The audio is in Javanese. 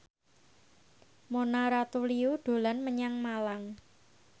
Mona Ratuliu dolan menyang Malang